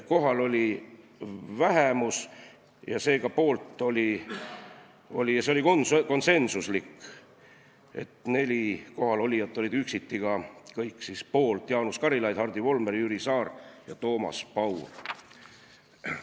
Kohal oli vähemus ja see oli konsensuslik, st kõik neli kohalolijat olid üksiti poolt: Jaanus Karilaid, Hardi Volmer, Jüri Saar ja Toomas Paur.